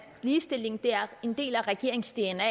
ligestilling er en del af regeringens dna